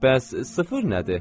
Bəs sıfır nədir?